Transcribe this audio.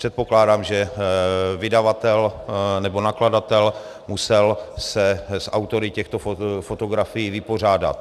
Předpokládám, že vydavatel nebo nakladatel se musel s autory těchto fotografií vypořádat.